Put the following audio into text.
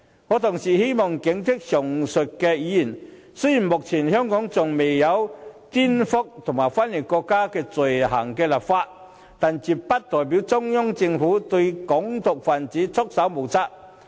我同時希望警惕上述議員，雖然香港仍未就顛覆及分裂國家罪行立法，但絕不代表中央政府對"港獨"分子束手無策。